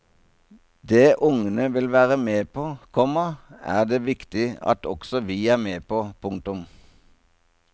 Det ungene vil være med på, komma er det viktig at også vi er med på. punktum